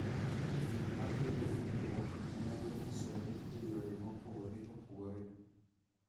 Gik ma kelo hinyruok nyalo nyisore e yore mopogore opogore